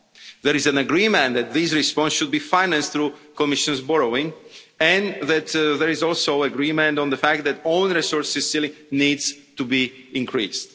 There is an agreement that this response should be financed through Commission borrowing and there is also agreement on the fact that own resources really need to be increased.